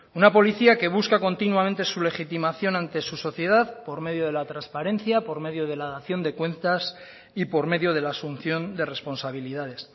una policía que busca continuamente su legitimación ante su sociedad por medio de la transparencia por medio de la dación de cuentas y por medio de la asunción de responsabilidades